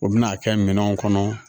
U bɛna kɛ minɛnw kɔnɔ